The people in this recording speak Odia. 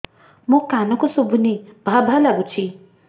ମୋ କାନକୁ ଶୁଭୁନି ଭା ଭା ଲାଗୁଚି